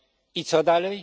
I co dalej?